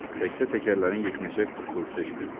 Təkcə təkərlərin yeknəsək tıkqıltısı eşidildi.